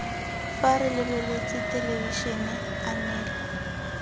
fa re lebeletse thelebišene anela